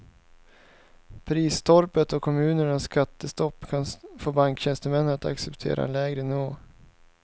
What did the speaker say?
Prisstoppet och kommunernas skattestopp kan få banktjänstemännen att acceptera en lägre nivå.